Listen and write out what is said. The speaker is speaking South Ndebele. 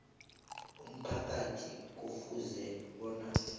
umphakathi kufuze bona